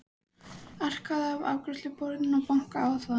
Arkaði að afgreiðsluborðinu og bankaði á það.